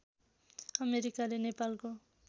अमेरिकाले नेपालको